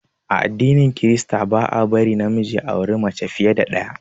A addinin krista ba a bari na miji ya auri fiye da mace ɗaya